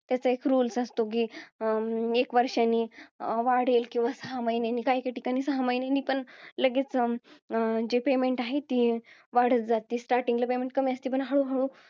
त्याचा एक rule असतो कि, एक वर्षाने वाढेल किंवा, सहा महिन्यांनी. काहीकाही ठिकाणी सहा महिन्यांनी पण लगेच अं जे payment आहे ते, वाढत जाते. Starting ला payment कमी असते पण हळूहळू